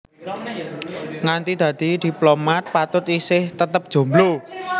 Nganti dadi diplomat Patut isih tetep jomblo